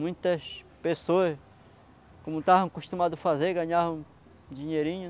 Muitas pessoas, como estavam acostumadas a fazer, ganhavam dinheirinho,